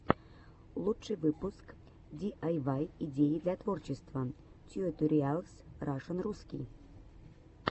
лучший выпуск диайвай идеи для творчества тьюториалс рашн русский